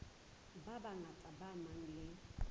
ba bangata ba nang le